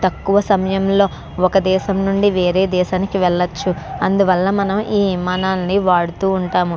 తక్కువ సమయం లో ఒక దేశం నుండి వేరే దేశానికి వెళ్ళచ్చు అందువళ్ళ మనం ఈ విమానాన్ని వాడుతూ ఉంటాము.